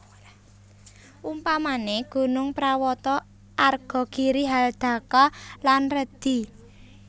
Umpamane gunung prawata arga giri haldaka lan redi